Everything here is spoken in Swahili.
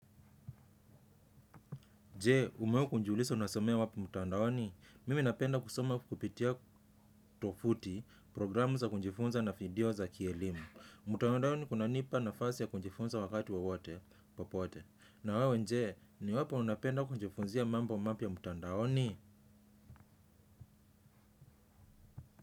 Je, umewahi kujiuliza unasomea wapi mtandaoni? Mimi napenda kusoma kupitia tovuti, programu za kujifunza na video za kielimu. Mtandaoni kunanipa nafasi ya kujifunza wakati wowote, popote. Na wewe je, ni wapi unapenda kujifunzia mambo mapya mtandaoni?